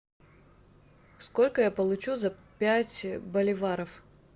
сколько я получу за пять боливаров